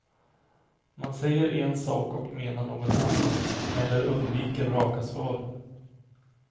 Man säger en sak och menar något annat, eller undviker raka svar.